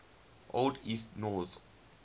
old east norse